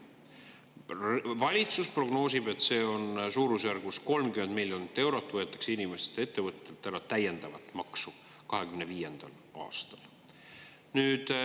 Valitsus prognoosib, et suurusjärgus 30 miljonit eurot võetakse inimestelt ja ettevõtetelt ära täiendavat maksu 2025. aastal.